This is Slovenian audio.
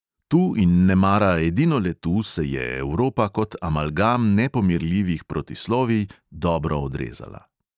Tu in nemara edinole tu se je evropa kot amalgam nepomirljivih protislovij dobro odrezala.